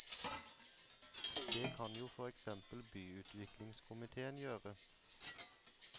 Det kan jo for eksempel byutviklingskomitéen gjøre.